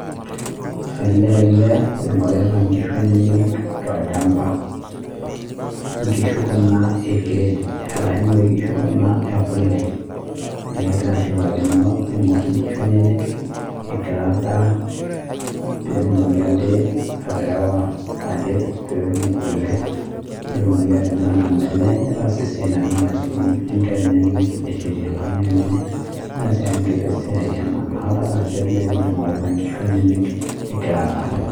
Olee ele oing'orita inkishu enyenye tolchamba. Inkishu kuna ekgrade, arashu inoshi kishu ekule, neekegira ashipakino aing'or inkishu enyenye egira aada, peetumoki ade aterewa, alep peetum kule peetumoki atimira nena ale, nitaas esia natiu enaa aismie inkera enyenye neshetie enkang' enye nitaas ake esia emaana, adolta ajo olee ele oing'orita inkishu enyenye egira aadaa.